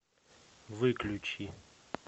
выключи